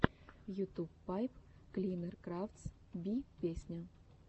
ютуб пайп клинер крафтс би песня